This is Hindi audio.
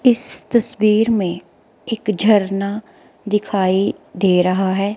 इस तस्वीर में एक झरना दिखाई दे रहा है।